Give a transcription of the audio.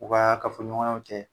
U kaa kafoɲɔgɔnyaw cɛ